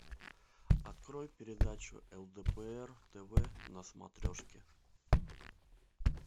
открой передачу лдпр тв на смотрешке